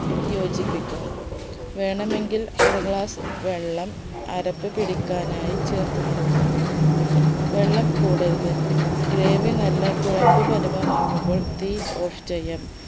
യോജിപ്പിക്കാം വേണമെങ്കിൽ അര glass വെള്ളം അരപ്പ് പിടിക്കാനായി ചേർത്ത് കൊടുക്കണം വെള്ളം കൊടരുത് gravy നല്ല കുഴമ്പ് പരുപമാകുമ്പോൾ തീ off ചെയ്യാം